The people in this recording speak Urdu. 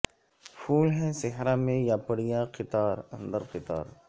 پھول ہیں صحرا میں یا پریاں قطار اندر قطار